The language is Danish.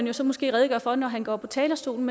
jo så måske redegøre for når han går på talerstolen